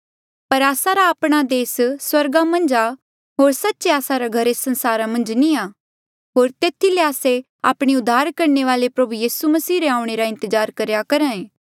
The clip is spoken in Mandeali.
पर आस्सा रा आपणा देस स्वर्गा मन्झ आ होर सच्चे आस्सा रा घर एस संसारा मन्झ नी आ होर तेथी ले आस्से आपणे उद्धार करणे वाले प्रभु यीसू मसीह रे आऊणें रा इंतजार करेया करहा ऐें